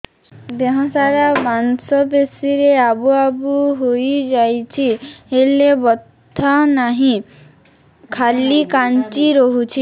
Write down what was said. ଦେହ ସାରା ମାଂସ ପେଷି ରେ ଆବୁ ଆବୁ ହୋଇଯାଇଛି ହେଲେ ବଥା ନାହିଁ ଖାଲି କାଞ୍ଚି ରଖୁଛି